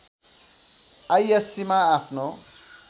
आईएस्सीमा आफ्नो